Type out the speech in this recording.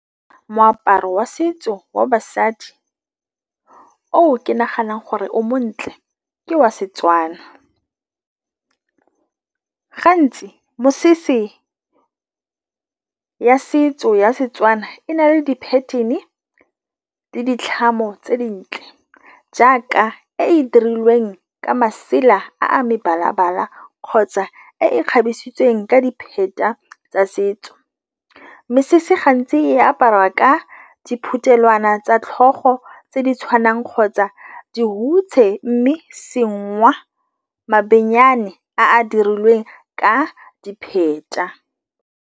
Moaparo wa setso wa basadi o ke naganang gore o montle ke wa Setswana. Gantsi mesese ya setso ya Setswana e na le di-pattern-e le di tlhamo tse di ntle, jaaka e e dirilweng ka masela a a mebala-bala kgotsa e e kgabisitsweng ka di tsa setso. Mesese gantsi e apariwa ka diphuthelwana tsa tlhogo tse di tshwanang kgotsa dihutshe, mme mabenyane a a dirilweng ka di .